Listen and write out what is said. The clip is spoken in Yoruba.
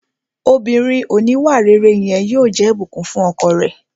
Obìnrin òníwàrere yẹn yóò jẹ́ Ìbùkún fún ọkọ rẹ̀